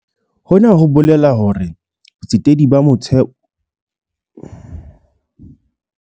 Hona ho bolela hore botsetedi ba moralo wa motheo bo tlameha ho tshehetsa eseng feela ntshetsopele ya indastri ya lehae, empa le dikgwebo tsa basadi.